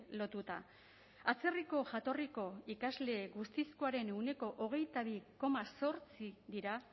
lotuta atzerriko jatorriko ikasle guztizkoaren ehuneko hogeita bi koma zortzi dira